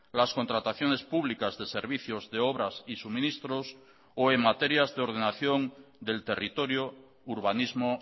las contrataciones públicas de servicios de obras y suministros o en materias de ordenación del territorio urbanismo